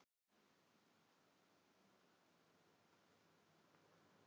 Aríaðna, hvaða mánaðardagur er í dag?